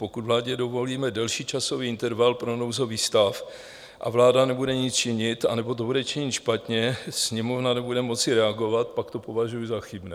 Pokud vládě dovolíme delší časový interval pro nouzový stav a vláda nebude nic činit, anebo to bude činit špatně, Sněmovna nebude moci reagovat, pak to považuji za chybné.